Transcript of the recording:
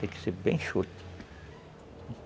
Tem que ser bem enxuta.